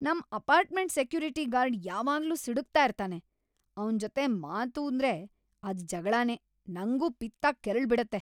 ನಮ್ apartment security guard ಯಾವಾಗ್ಲೂ ಸಿಡುಕ್ತಾ ಇರ್ತಾನೆ, ಅವ್ನ್‌ ಜೊತೆ ಮಾತೂಂದ್ರೆ ಅದ್ ಜಗ್ಳನೇ, ನಂಗೂ ಪಿತ್ತ ಕೆರಳ್ಬಿಡತ್ತೆ.